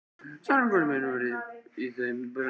Sannleikur minn var í þeim brunni.